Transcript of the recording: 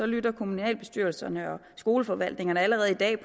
lytter kommunalbestyrelserne og skoleforvaltningerne allerede i dag